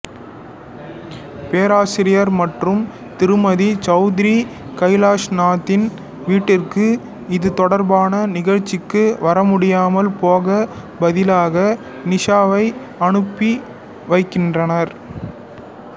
பேராசிரியர் மற்றும் திருமதி சௌத்ரி கைலாஷ்நாத்தின் வீட்டிற்கு இது தொடர்பான நிகழ்ச்சிக்கு வரமுடியாமல் போக பதிலாக நிஷாவை அனுப்பி வைக்கின்றனர்